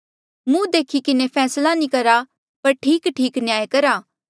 मुहं देखी किन्हें फैसला नी करा पर ठीकठीक न्याय करा